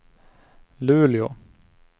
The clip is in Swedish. Luleå